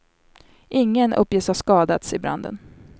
Ingen uppges ha skadats i branden.